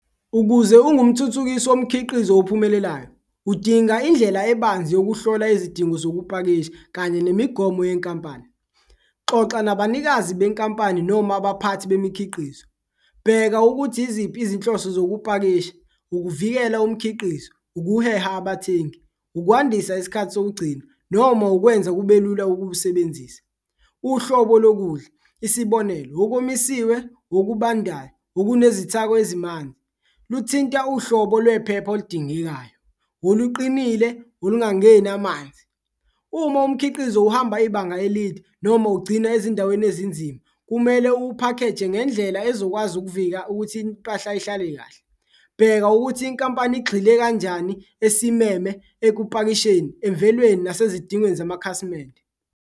Ukuze ungumthuthukisi womkhiqizo ophumelelayo, udinga indlela ebanzi yokuhlola izidingo zokupakisha kanye nemigomo yenkampani, xoxa nabanikazi benkampani noma abaphathi bemikhiqizo. Bheka ukuthi iziphi izinhloso zokupakisha, ukuvikela umkhiqizo, ukuheha abathengi, ukwandisa isikhathi sokugcina noma ukwenza kube lula ukuwusebenzisa, uhlobo lokudla isibonelo, okomisiwe, okubandayo okunezithako ezimanzi kuthinta uhlobo lwephepha oludingekayo oluqinile, olungangeni amanzi. Uma umkhiqizo uhamba ibanga elide noma ugcina ezindaweni ezinzima, kumele uwuphakheje ngendlela ezokwazi ukuvika ukuthi impahla ihlale kahle. Bheka ukuthi inkampani igxile kanjani esimeme, ekupakisheni, emvelweni nasezidingweni zamakhasimende.